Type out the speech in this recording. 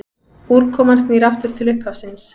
Úrkoman snýr aftur til upphafsins.